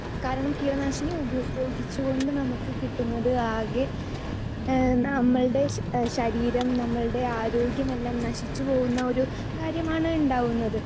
speaker 2 കാരണം കീടനാശിനി ഉപയോഗിച്ചുകൊണ്ട് നമുക്ക് കിട്ടുന്നത് ആകെ എഹ് നമ്മൾടെ ശരീരം നമ്മൾടെ ആരോഗ്യം എല്ലാം നശിച്ചു പോകുന്ന ഒരു കാര്യമാണ് ഉണ്ടാവുന്നത്